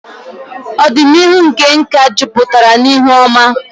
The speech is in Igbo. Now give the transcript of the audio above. Ọdịnihu nke nka jupụtara n'ihe oma.